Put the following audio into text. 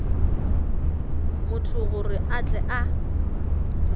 motho gore a tle a